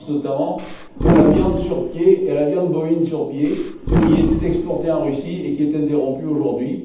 Je pense notamment à la viande sur pied et à la viande bovine sur pied, qui étaient exportées en Russie et qui sont interrompues aujourd'hui.